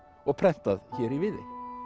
og prentað hér í Viðey